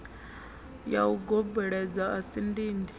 ya ugobela a si dindi